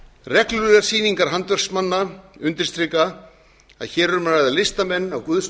reglulegar sýningar handverksmanna undirstrika að hér er um að ræða listamenn af guðs